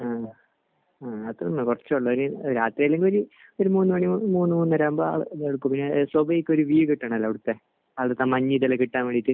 ആഹ്. ആഹ്. അത് കുറച്ചൊള്ളൂ. ഒരു രാത്രിയല്ലെങ്കിൽ ഒരു മൂന്ന് മണി മൂന്ന് മൂന്നര ആകുമ്പോൾ കിട്ടണമല്ലോ അവിടുത്തെ. അവിടുത്തെ മഞ്ഞ് കിട്ടുവാൻ വേണ്ടിയിട്ട്.